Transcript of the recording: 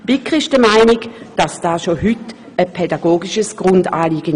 Die BiK ist der Meinung, das sei bereits heute ein pädagogisches Grundanliegen.